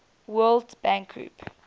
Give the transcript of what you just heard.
world bank group